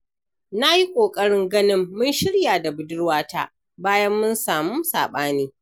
Na yi ƙoƙarin ganin mun shirya da budurwata, bayan mun samu saɓani.